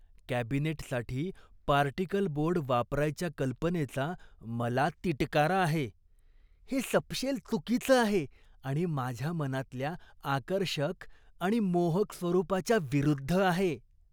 कॅबिनेटसाठी particle board वापरायच्या कल्पनेचा मला तिटकारा आहे. हे सपशेल चुकीचं आहे आणि माझ्या मनातल्या आकर्षक आणि मोहक स्वरूपाच्या विरुद्ध आहे.